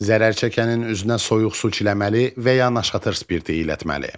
Zərərçəkənin üzünə soyuq su çiləməli və ya naşatır spirti ilətmalı.